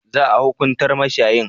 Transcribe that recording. Za a hukuntar mashayin?